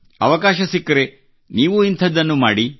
ಅವಕಾಶ ಸಿಕ್ಕರೆ ನೀವೂ ಇಂಥದ್ದನ್ನು ಮಾಡಿ